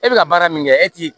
E bɛ ka baara min kɛ e t'i